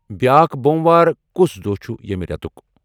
بیاکھ بوموار کُس دۄہ چُھ یِمہِ رِیتُک؟